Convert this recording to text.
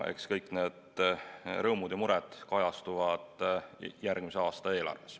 Eks kõik need rõõmud ja mured kajastuvad järgmise aasta eelarves.